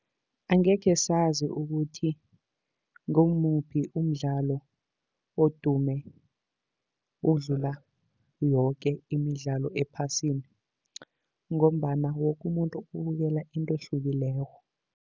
Angekhe sazi ukuthi ngongumuphi umdlalo odume ukudlula yoke imidlalo ephasini, ngombana woke umuntu ubukela into ehlukileko.